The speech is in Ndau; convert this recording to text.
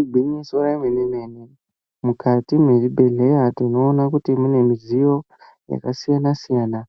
Igwinyiso remene-mene, mukati mwezvibhedhlera, tinoona kuti mune midziyo yakasiyana-siyana,